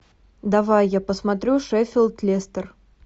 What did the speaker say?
давай я посмотрю шеффилд лестер